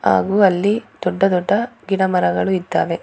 ಹಾಗು ಅಲ್ಲಿ ದೊಡ್ಡ ದೊಡ್ಡ ಗಿಡಮರಗಳು ಇದ್ದಾವೆ.